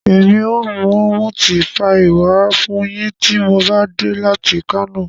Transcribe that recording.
Emi o mu miti paii wa fun yin ti mo ba de lati Kano